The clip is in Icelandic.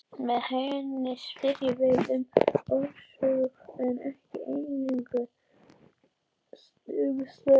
Með henni spyrjum við um orsök en ekki eingöngu um staðreyndir.